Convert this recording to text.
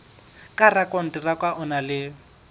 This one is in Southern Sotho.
ka rakonteraka o na le